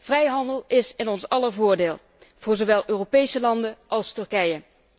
Vrijhandel is in ons aller voordeel, voor zowel Europese landen als Turkije.